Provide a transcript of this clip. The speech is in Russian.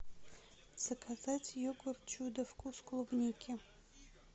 заказать йогурт чудо вкус клубники